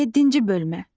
Yeddinci bölmə.